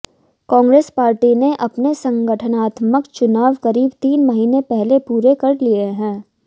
Congress party ने अपने संगठनात्मक चुनाव करीब तीन महीने पहले पूरे कर लिए हैं